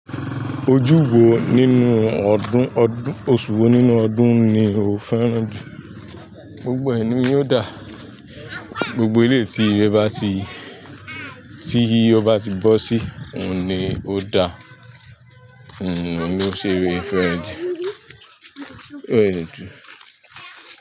Ojúwo nínú ọdún, oṣù wo nínú ọdún ni o fẹ́ràn jù? Gbogbo ẹ ni ó dà, gbogbo eleyi tí ire bá ti, tí ọ bá ti bọ́ sí, òun ni ó da, òun ló ṣe fẹ́rẹ̀ẹ́ ju.